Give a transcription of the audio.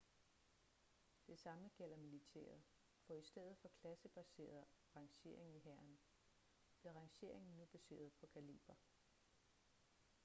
det samme gælder militæret for i stedet for klassebaseret rangering i hæren blev rangeringen nu baseret på kaliber